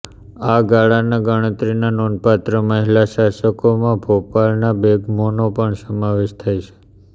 આ ગાળાના ગણતરીના નોંધપાત્ર મહિલા શાસકોમાં ભોપાલના બેગમોનો પણ સમાવેશ થાય છે